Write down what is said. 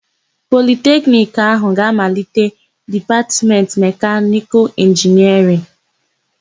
Politekiniki áhụ̀ ga-amalite Dipatmentị Mekanịkalụ Inginịarịn.